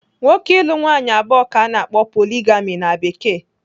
Nwoke ịlụ nwaanyị abụọ ka ana akpọ 'poligami' na Bekee.